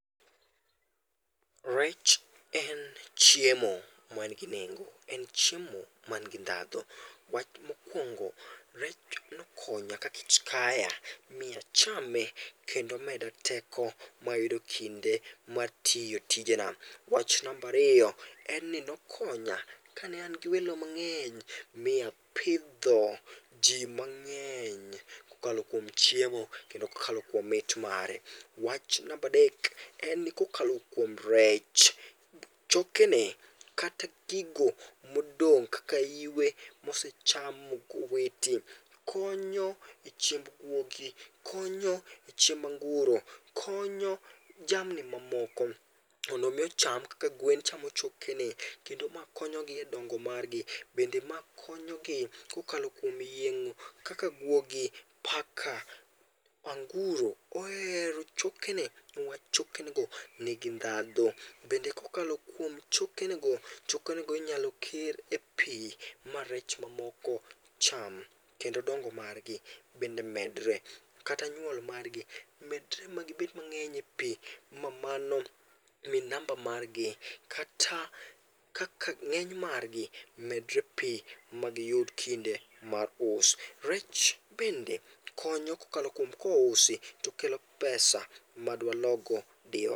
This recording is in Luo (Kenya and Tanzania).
Rech en chiemo man gi nengo, en chiemo man gi dhandho. Wach Mokuongo rech okonya ka kech kaya mi ichame ma omeda teko ma ayudo kinde ma atiyo tije na. Wach namba ariyo, ne okonya ka ne an gi welo mang'eny omiyo apidho ji mang'eny ko okalo kuom chiemo ko okalo kuom mit mare. Wach namba adek, en ni ko okalo kuom rech, choke ne kata gigo mo odong ka iwe mo osacham ma owiti konyo e chiemb gwogi, konyo e chiemb anguro, konyo jamni ma moko mondo mi ocham kaka gwen chamo choke ne kendo konyo gi e dongo mar gi kendo ma konyo gi dongo mar gi bende ma konyo gi ko okalo kuo yieng'o, kaka gwogi, paka, anguro, ohero chokene ne wach choke ne go ni gi dhandho. Kendo ko okalo choke ge go chke ne go inyalo kir e pii ma rech ma moko cham kendo dongo mar gi bende medre kata nyuol mar gi ma gi bed ma ng'eny e pi ma mano mi namba mar gi kata kaka ng'eny mar gi medre pi ma gi yud kinde mag us. Reche bende konyo ko kalo kuom ko ousi to okelo pesa ma de wa loo go.